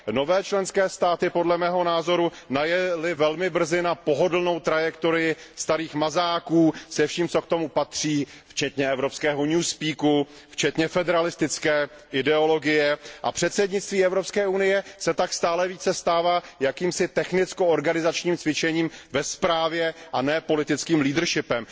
Nové členské státy podle mého názoru najely velmi brzo na pohodlnou trajektorii starých mazáků se vším, co k tomu patří, včetně evropského new speaku včetně federalistické ideologie, a předsednictví Evropské unie se tak stále více stává jakýmsi technicko organizačním cvičením ve správě, a ne politickým leadershipem.